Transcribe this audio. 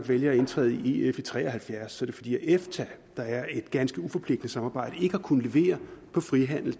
valgte at indtræde i ef i nitten tre og halvfjerds var det fordi efta der er et ganske uforpligtende samarbejde ikke havde kunnet levere